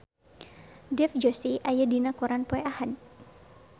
Dev Joshi aya dina koran poe Ahad